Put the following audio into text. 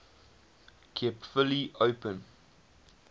kept fully open